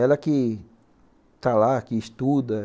Ela que está lá, que estuda.